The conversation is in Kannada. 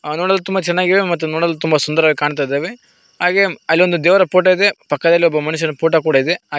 ಅದು ನೋಡಲು ತುಂಬ ಚೆನ್ನಾಗಿದೆ ಮತ್ತು ನೋಡಲು ತುಂಬಾ ಸುಂದರವಾಗಿ ಕಾಣ್ತಾ ಇದಾವೆ ಹಾಗೆ ಅಲ್ಲಿ ಒಂದು ದೇವರ ಫೋಟೋ ಇದೆ ಪಕ್ಕದಲ್ಲಿ ಒಬ್ಬ ಮನುಷ್ಯರ ಫೋಟೋ ಕೂಡ ಇದೆ ಅ --